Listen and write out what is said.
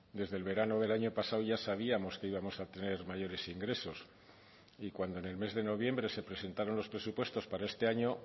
desde el verano del año pasado ya sabíamos que íbamos a tener mayores ingresos y cuando en el mes de noviembre se presentaron los presupuestos para este año